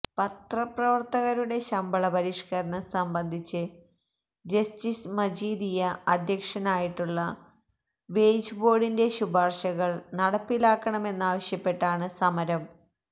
പത്രപ്രവർത്തകരുടെ ശമ്പള പരിഷ്കരണം സംബന്ധിച്ച് ജസ്റ്റിസ് മജീദിയ അധ്യക്ഷനായിട്ടുള്ള വേജ് ബോർഡിന്റെ ശുപാർശകൾ നടപ്പിലാക്കണമെന്നാവശ്യപ്പെട്ടാണ് സമരം